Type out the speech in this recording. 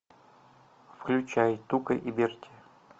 включай тука и берти